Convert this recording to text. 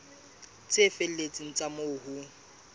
tse felletseng tsa moo ho